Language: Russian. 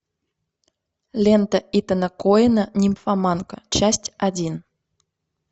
лента итана коэна нимфоманка часть один